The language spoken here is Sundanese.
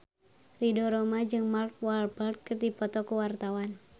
Ridho Roma jeung Mark Walberg keur dipoto ku wartawan